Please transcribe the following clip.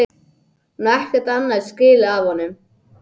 Hún á ekkert annað skilið af honum.